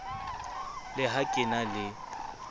le ha ke na le